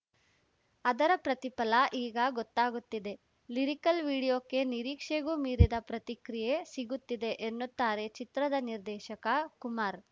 ಅದರ ಪ್ರತಿಫಲ ಈಗ ಗೊತ್ತಾಗುತ್ತಿದೆ ಲಿರಿಕಲ್‌ ವಿಡಿಯೋಕ್ಕೆ ನಿರೀಕ್ಷೆಗೂ ಮೀರಿದ ಪ್ರತಿಕ್ರಿಯೆ ಸಿಗುತ್ತಿದೆ ಎನ್ನುತ್ತಾರೆ ಚಿತ್ರದ ನಿರ್ದೇಶಕ ಕುಮಾರ್‌